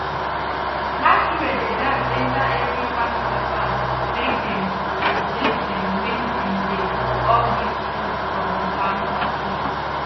masquerade dey dance enter every family farm make dem to bless dem wen dem dey do all dis food from farm party